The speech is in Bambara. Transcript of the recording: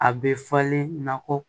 A bɛ falen na kɔ